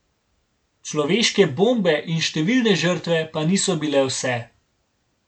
Človeške bombe in številne žrtve pa niso bile vse.